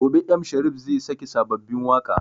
Gobe m Sharif zai sake sababbin waƙa